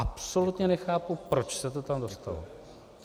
Absolutně nechápu, proč se to tam dostalo.